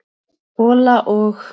hola og.